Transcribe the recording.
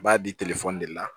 U b'a di de la